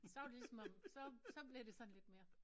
Så var det lige som om så så blev det sådan lidt mere